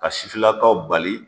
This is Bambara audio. Ka sifinnakaw bali